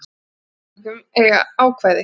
Í slíkum tilvikum eiga ákvæði